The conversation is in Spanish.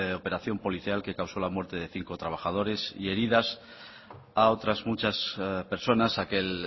operación policial que causó la muerte de cinco trabajadores y heridas a otras muchas personas aquel